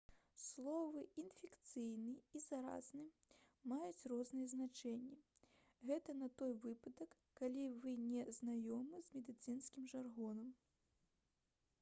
словы «інфекцыйны» і «заразны» маюць розныя значэнні — гэта на той выпадак калі вы не знаёмы з медыцынскім жаргонам